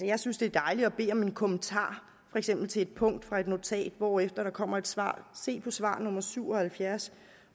jeg synes det er dejligt at bede om en kommentar for eksempel til et punkt fra et notat hvorefter der kommer et svar der se på svar på nummer syv og halvfjerds